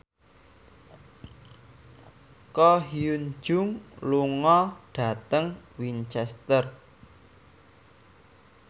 Ko Hyun Jung lunga dhateng Winchester